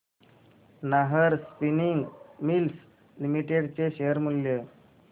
Nahar spinning mills limited चे share मूल्य